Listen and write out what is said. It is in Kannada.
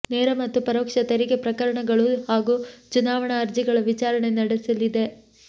ನೇರ ಮತ್ತು ಪರೋಕ್ಷ ತೆರಿಗೆ ಪ್ರಕರಣಗಳು ಹಾಗೂ ಚುನಾವಣಾ ಅರ್ಜಿಗಳ ವಿಚಾರಣೆ ನಡೆಸಲಿದೆ